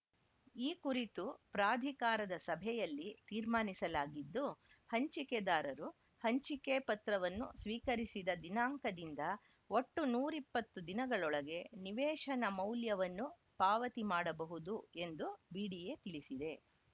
ಈ ಕುರಿತು ಪ್ರಾಧಿಕಾರದ ಸಭೆಯಲ್ಲಿ ತೀರ್ಮಾನಿಸಲಾಗಿದ್ದು ಹಂಚಿಕೆದಾರರು ಹಂಚಿಕೆ ಪತ್ರವನ್ನು ಸ್ವೀಕರಿಸಿದ ದಿನಾಂಕದಿಂದ ಒಟ್ಟು ನೂರ ಇಪ್ಪತ್ತು ದಿನಗಳೊಳಗೆ ನಿವೇಶನ ಮೌಲ್ಯವನ್ನು ಪಾವತಿ ಮಾಡಬಹುದು ಎಂದು ಬಿಡಿಎ ತಿಳಿಸಿದೆ